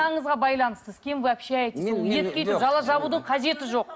байланысты с кем вы общаетесь етке өйтіп жала жабудың қажеті жоқ